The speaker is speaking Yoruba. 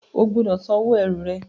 O gbúdọ̀ sanwó ẹrù rẹ!